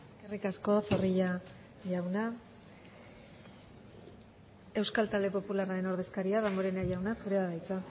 eskerrik asko zorrilla jauna euskal talde popularraren ordezkaria damborena jauna zurea da hitza